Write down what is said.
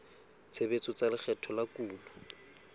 tshebetso tsa lekgetho la kuno